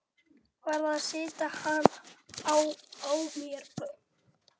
Varð að sitja á mér.